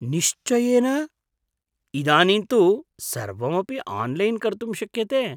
निश्चयेन! इदानीं तु सर्वमपि आन्लैन् कर्तुं शक्यते!